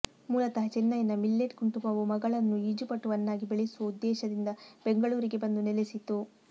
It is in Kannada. ಮೂಲತಃ ಚೆನ್ನೈನ ಮಿಲ್ಲೆಟ್ ಕುಟುಂಬವು ಮಗಳನ್ನು ಈಜುಪಟುವನ್ನಾಗಿ ಬೆಳೆಸುವ ಉದ್ದೇಶದಿಂದ ಬೆಂಗಳೂರಿಗೆ ಬಂದು ನೆಲೆಸಿತು